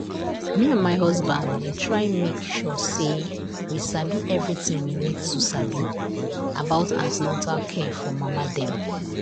the nurse wey dey our um community explain an ten atal care for mama dem for way wey dey very simple and e help um well well